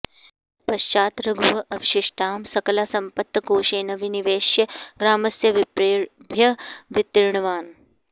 पश्चात् रघुः अवशिष्टां सकला सम्पत् कोशे न विनिवेश्य ग्रामस्य विप्रेभ्यः वितीर्णवान्